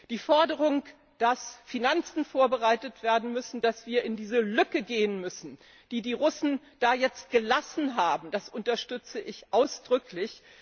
Die Forderung, dass Finanzen vorbereitet werden müssen, dass wir in diese Lücke gehen müssen, die die Russen da jetzt gelassen haben, das unterstütze ich ausdrücklich.